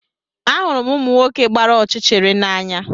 Ahụrụ m ụmụ nwoke gbara ọchịchịrị n'anya